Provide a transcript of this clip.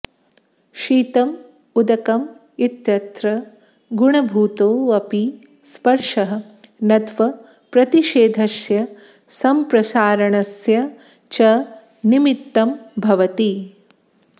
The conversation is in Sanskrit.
शीतम् उदकम् इत्यत्र गुणभूतो ऽपि स्पर्शः नत्वप्रतिषेधस्य सम्प्रसारणस्य च निमित्तं भवति